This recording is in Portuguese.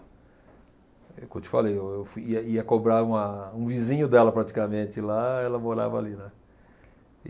É o que eu te falei, eu eu fo ia ia cobrar uma um vizinho dela, praticamente, lá e ela morava ali, né. E